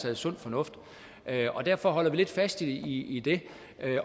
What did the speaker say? er sund fornuft og derfor holder vi lidt fast i det